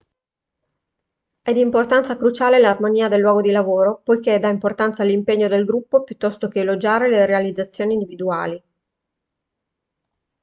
è di importanza cruciale l'armonia del luogo di lavoro poiché dà importanza all'impegno del gruppo piuttosto che elogiare le realizzazioni individuali